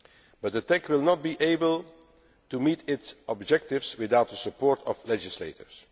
But the TEC will not be able meet its objectives without the support of legislators.